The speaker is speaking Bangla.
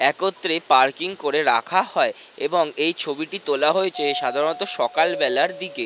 একত্রে পার্কিং করে রাখা হয় এবং এই ছবিটি তোলা হয়েছে সাধারণত সকালবেলার দিকে।